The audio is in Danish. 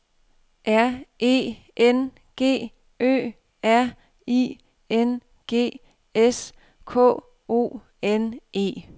R E N G Ø R I N G S K O N E